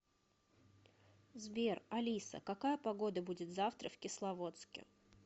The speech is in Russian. сбер алиса какая погода будет завтра в кисловодске